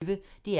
DR P1